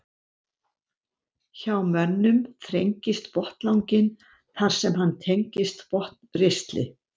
Hjá mönnum þrengist botnlanginn þar sem hann tengist botnristli.